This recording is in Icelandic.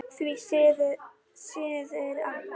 Því síður Abba hin.